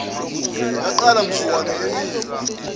yaqala mzukwane enikwa